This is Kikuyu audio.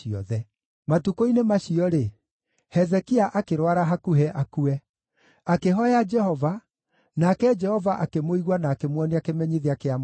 Matukũ-inĩ macio-rĩ, Hezekia akĩrwara hakuhĩ akue. Akĩhooya Jehova, nake Jehova akĩmũigua na akĩmuonia kĩmenyithia kĩa mwanya.